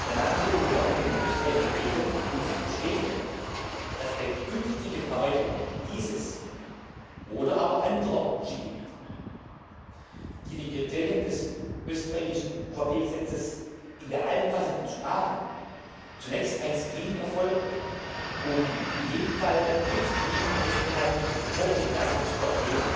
Dann haben wir die Behörden in Österreich gebeten, uns zu bestätigen, dass bei künftigen Erweiterungen dieses oder aber anderer Skigebiete, die den Kriterien des österreichischen UVP Gesetzes in der alten Fassung entsprachen, zunächst ein Screening erfolgt, um in jedem Fall mit Screening festzuhalten, ob und dass eine